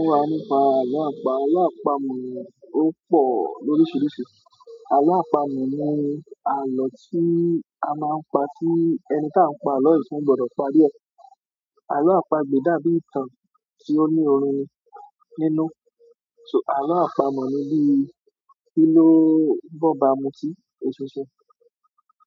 Kọ́ wà nípa àlọ́ àpamọ̀, àlọ́ àpamọ̀ ó pọ̀ lóríṣiríṣi. Àlọ́ àpamọ̀ ni àlọ́ tí a máa ń pa tí ẹni tí a ń pa àlọ́ yìí fún gbọdọ̀ parí ẹ̀. Àlọ́ àpagbè dàbí ìtàn tí ó ní orun nínú, ṣùgbọ́n àlọ́ àpamọ̀ ni bí i kíló n bọ́ba mutí, eṣinṣin.